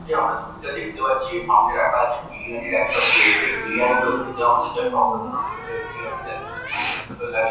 এই যে আমরা ছবিটা দেখতে পাচ্ছি এ সামনে রাখা আছে বিরিয়ানির একটা প্লেট । এই বিরিয়ানি গুলো খেতে আমাদের জাস্ট অসাধারণ লেগে থেকে বিরিয়ানি টা খেতে খুবই সুন্দর লাগে।